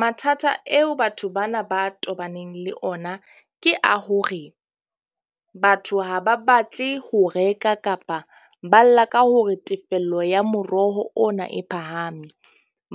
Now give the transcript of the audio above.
Mathata eo batho bana ba tobaneng le ona ke a hore batho ha ba batle ho reka kapa ba lla ka hore tefello ya moroho ona e phahame.